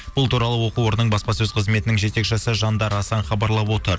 бұл туралы оқу орының баспасөз қызметінің жетекшісі жандар асан хабарлап отыр